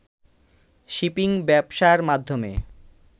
shipping ব্যবসার মাধ্যমে